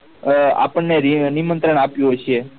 આ આપણ ને ની નિમંત્રણ આપ્યું હશે